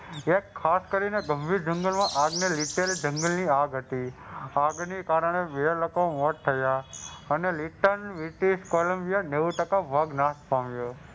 એક ખાસ કરીને ગંભીર જંગલના આગ ને લીધે જંગલની આગ હતી. આગને કારણે બે લોકો મોત થયા અને નેવું ટકા ભાગ નાશ પામ્યો.